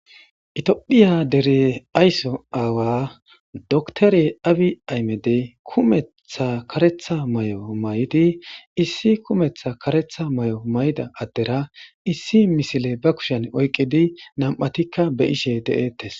Itiophiya dere aysso aawa doktore abi aymedey kumetha karetha may'o may'idi issi kumetha karetha may'o may'da addera issi misile ba kushen oyqidi nam'atikka be ishe de'eettes.